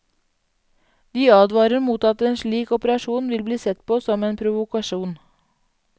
De advarer mot at en slik operasjon vil bli sett på som en provokasjon.